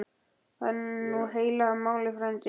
Það er nú heila málið frændi.